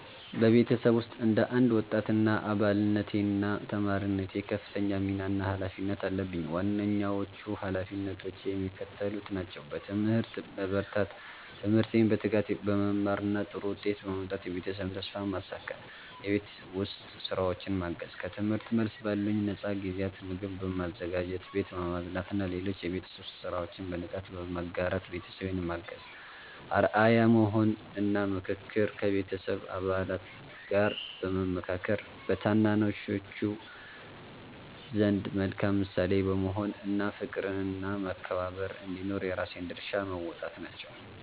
በቤተሰቤ ውስጥ እንደ አንድ ወጣት አባልነቴና ተማሪነቴ ከፍተኛ ሚና እና ኃላፊነት አለብኝ። ዋነኞቹ ኃላፊነቶቼ የሚከተሉት ናቸው፦ በትምህርት መበርታት፦ ትምህርቴን በትጋት በመማርና ጥሩ ውጤት በማምጣት የቤተሰቤን ተስፋ ማሳካት። የቤት ውስጥ ሥራዎችን ማገዝ፦ ከትምህርት መልስ ባሉኝ ነፃ ጊዜያት ምግብ በማዘጋጀት፣ ቤት በማጽዳትና ሌሎች የቤት ውስጥ ሥራዎችን በንቃት በመጋራት ቤተሰቤን ማገዝ። አርአያ መሆን እና ምክክር፦ ከቤተሰብ አባላት ጋር በመመካከር፣ በታናናሾች ዘንድ መልካም ምሳሌ በመሆን እና ፍቅርና መከባበር እንዲኖር የራሴን ድርሻ መወጣት ናቸው።